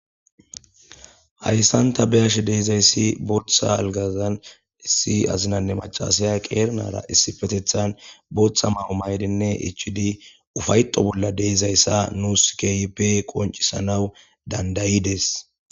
Haysan ta beyashe dizaya botha algazan issie azinayne maacashay qiri nara issippe tha botha mayo mayidi ichidi ufayeto bolla dizaysa nus kehippe qoncisanaw dandayides